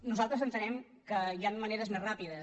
nosaltres entenem que hi han maneres més ràpides